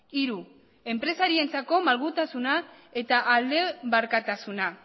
hiru enpresarientzako malgutasuna eta aldebakartasuna